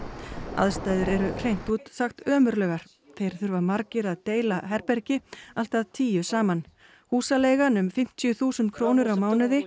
aðstæður eru hreint út sagt ömurlegar þeir þurfa margir að deila herbergi allt að tíu saman húsaleigan um fimmtíu þúsund krónur á mánuði